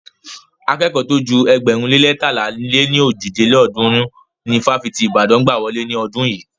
Akẹ́kọ̀ọ́ tó ju ėgbẹ̀rún lé leétalá lé ní ojì lélọ́ọ̀dúnrún ni ifáfitì ti Ìbàdàn gbà wọlé ní ọdún yìí.